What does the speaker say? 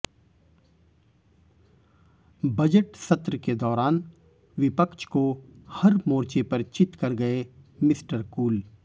budget सत्र के दौरान विपक्ष को हर मोर्चे पर चित कर गए मिस्टर कूल